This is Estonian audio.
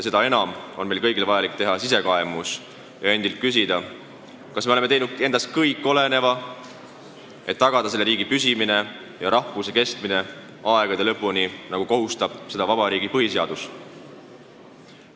Seda enam on meile vajalik teatud sisekaemus, et endilt küsida, kas me oleme teinud kõik endast oleneva, et tagada Eesti riigi püsimine ja rahvuse kestmine aegade lõpuni, nagu kohustab vabariigi põhiseadus.